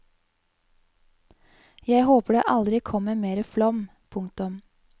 Jeg håper det aldri kommer mere flom. punktum